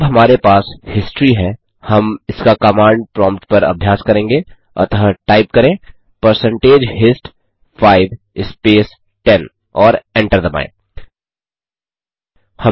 अब हमारे पास हिस्ट्री है हम इसका कमांड प्रोम्प्ट पर अभ्यास करेंगे अतः टाइप करें परसेंटेज हिस्ट 5 स्पेस 10 और एंटर दबाएँ